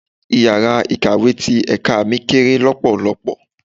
Ìyàrá Ikàwé ti ẹ̀ka mi kéré lọpọlọpọ.